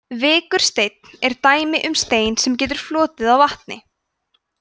vikursteinn er dæmi um stein sem getur flotið á vatni